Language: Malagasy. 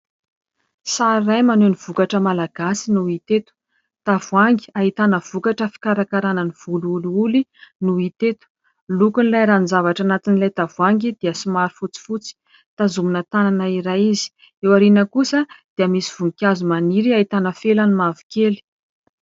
Sary iray manome ny vokatra malagasy no hita eto. Tavoahangy ahitana vokatra fikarakaranan'ny volo olioly no hita eto. Ny lokon'ilay ranony zavatra anatin'ilay tavoahangy dia somary fotsifotsy tazomina tanana iray izy. Eo aoriana kosa dia misy voninkazo maniry ahitana felany mavokely.